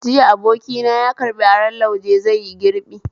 Jiya abokina yaƙarɓi aron lauje zaiyi girbi